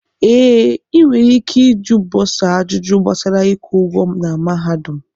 Ee, inwere ike iju bọsa ajụjụ gbasara ịkwụ ụgwọ na mahadum.